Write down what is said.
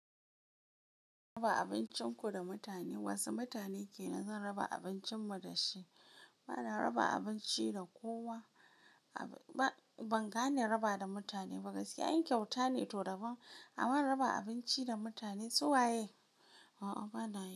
Raba abincinku da mutane. Wasu mutane kenan zan raba abincin mu dashi. Bana raba abinci da kowa. Ba, ban gane raba da mutane ba. Gaskiya in kyauta ne to daban. Aman in raba abinci da mutane suwaye? A'a bana.